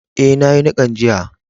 Eh, na yi nikan jiya.